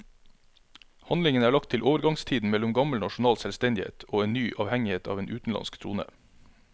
Handlingen er lagt til overgangstiden mellom gammel nasjonal selvstendighet og en ny avhengighet av en utenlandsk trone.